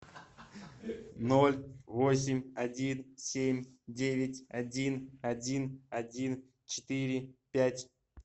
ноль восемь один семь девять один один один четыре пять